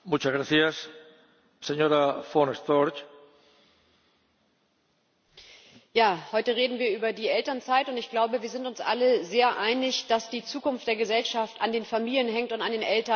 Herr Präsident! Heute reden wir über die Elternzeit. Ich glaube, wir sind uns alle sehr einig, dass die Zukunft der Gesellschaft an den Familien hängt und an den Eltern, die Kinder bekommen und erziehen.